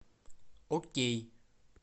окей